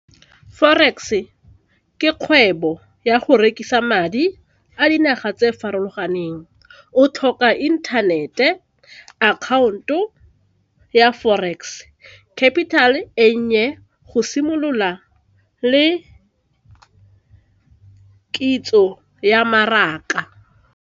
Forex ke kgwebo ya go rekisa madi a dinaga tse farologaneng o tlhoka inthanete, account-o ya forex, capital-e e nnye go simolola le kitso ya mmaraka.